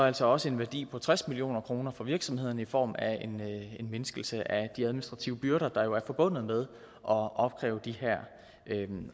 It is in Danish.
altså også en værdi på tres million kroner for virksomhederne i form af en mindskelse af de administrative byrder der jo er forbundet med at opkræve de her